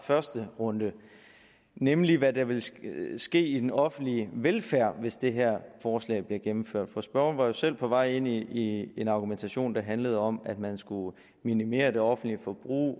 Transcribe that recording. første runde nemlig hvad der vil ske ske i den offentlige velfærd hvis det her forslag bliver gennemført for spørgeren var jo selv på vej ind i en argumentation der handlede om at man skulle minimere det offentlige forbrug